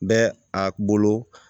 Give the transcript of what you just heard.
Bɛ a bolo